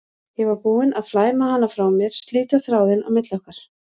Ég var búin að flæma hana frá mér, slíta þráðinn á milli okkar.